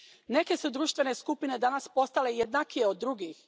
Neke su društvene skupine danas postale jednakije od drugih.